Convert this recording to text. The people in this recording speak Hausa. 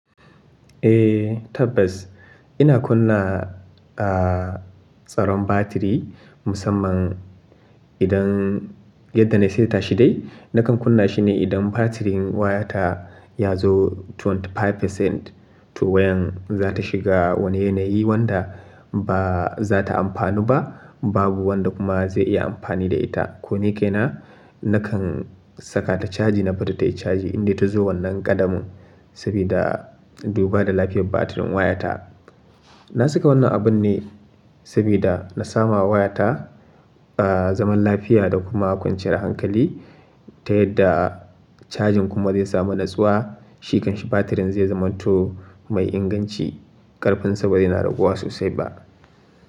Eh tabbas, ina kunna, ah, tsaron batiri musamman, idan yadda na saita shi dai, nakan kunna shi ne idan batirin wayata ya zo 25%, to wayan za ta shiga wani yanayi wanda ba za ta amfanu ba, babu wanda kuma zai iya amfani da ita. Ko ni kaina, nakan saka ta caji na bari ta yi caji in dai ta zo wannan ƙadamin, sabida duba da lafiyar batirin wayata. Na saka wannan abun ne, sabida na samu wayata, ah, zaman lafiya da kuma kwanciyar hankali, ta yadda cajin kuma zai samu natsuwa shi kan shi batirin zai zamanto, mai inganci, ƙarfin sa ba zai na raguwa sosai ba.